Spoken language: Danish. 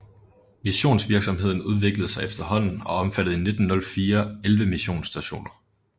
Missionsvirksomheden udviklede sig efterhånden og omfattede i 1904 11 missionsstationer